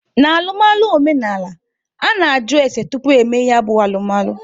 N'alụmalụ omenaala, a na-ajụ ese tupu emee ya bụ alụmalụ.